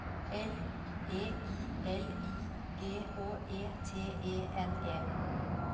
L E I L I G H E T E N E